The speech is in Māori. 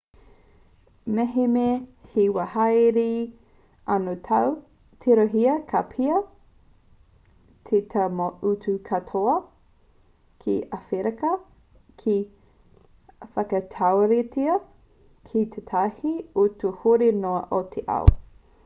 mehemea he wā hāereere anō tāu tirohia ka pēhea te tau mō tō utu katoa ki āwherika ki te whakatauritea ki tētahi utu huri noa i te ao